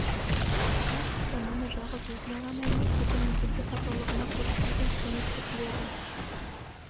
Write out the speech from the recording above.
ол кісі мұны жалғыз өзіне ғана емес бүкіл мүгедек атаулыға көрсетілген құрмет деп біледі